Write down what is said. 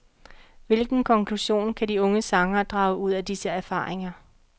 Hvilken konklusion kan de unge sangere drage ud af disse erfaringer.